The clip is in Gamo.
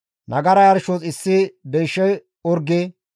nagara yarshos issi deysha orge,